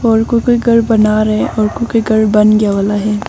और कोइ कोइ घर बना रहे हैं और कोई कोई घर बन गया वाला है।